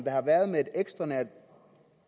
har været med et